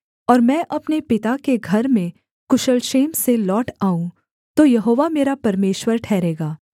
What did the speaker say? और मैं अपने पिता के घर में कुशल क्षेम से लौट आऊँ तो यहोवा मेरा परमेश्वर ठहरेगा